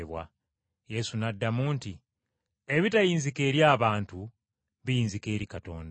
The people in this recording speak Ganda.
Yesu n’addamu nti, “Ebitayinzika eri abantu, biyinzika eri Katonda.”